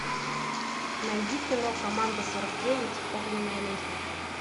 найди кино команда сорок девять огненная лестница